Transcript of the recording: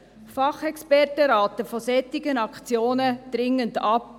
Fachexperten raten von solchen Aktionen dringend ab.